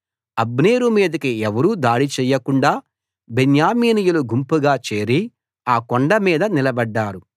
అబ్నేరు మీదికి ఎవరూ దాడి చేయకుండా బెన్యామీనీయులు గుంపుగా చేరి ఆ కొండ మీద నిలబడ్డారు